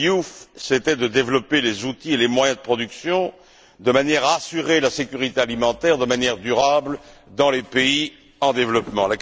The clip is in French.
Diouf était de développer les outils et les moyens de production, de manière à assurer la sécurité alimentaire de façon durable dans les pays en développement.